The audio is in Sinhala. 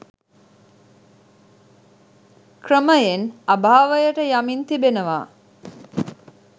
ක්‍රමයෙන් අභාවයට යමින් තිබෙනවා.